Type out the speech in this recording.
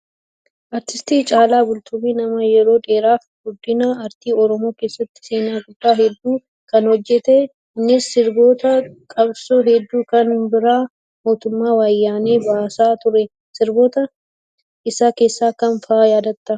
Artisti Caalaa Bultumee nama yeroo dheeraaf guddina aartii oromoo keessatti seenaa guddaa hedduu kan hojjate innis sirboota qabsoo hedduu kan bara mootummaa wayyaanee baasaa ture. Sirboota isaa keessaa kam fa'aa yaadattaa?